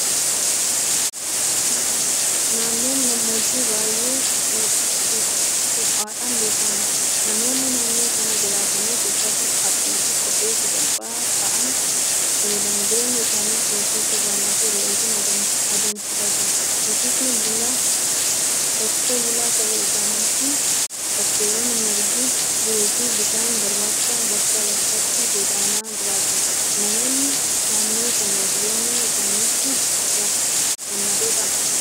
Naannoon gammoojjii baay'ee ho'uudhaan beekama. Namoonni naannoo sana jiraatanis uffata haphiifi kophee sasalphaa ta'an fayyadamu. Jireenya isaaniis horsiisa Gaalaafi Re'eetiin adeemsifatu. Horsiisee bulaa ta'uu isaaniitiin bakkeewwan margi jiruufi bishaan barbaacha bakkaa bakkatti godaanaa jiraatu. Nammoonni naannoo sanaa jireenya isaaniitti gammadoodhaa?